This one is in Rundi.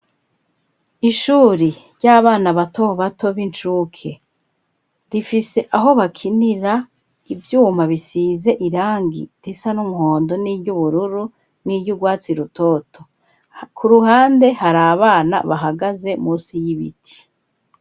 Ishuri ry'abana bato bato, b'incuke, rifise aho bakinira, ivyuma bisize irangi risa n'umuhondo, n'iry'ubururu, n'iry'urwatsi rutoto, ku ruhande, hari abana bahagaze munsi y'ibiti.